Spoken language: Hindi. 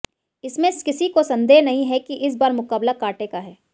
इसमें किसी को संदेह नहीं है कि इस बार मुकाबला कांटे का है